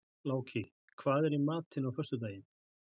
Láki, hvað er í matinn á föstudaginn?